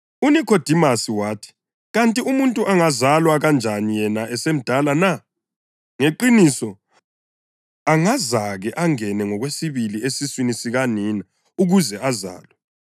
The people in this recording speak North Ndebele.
UNikhodimasi wathi, “Kanti umuntu angazalwa kanjani yena esemdala na? Ngeqiniso, angazake angene ngokwesibili esiswini sikanina ukuze azalwe!”